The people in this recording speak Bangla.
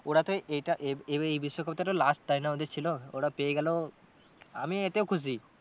ওরা তো এটা এবার এই বিশ্বকাপটা তো last তাই না ওদের ছিল ওরা পেয়ে গেলো আমি এতেও খুশি।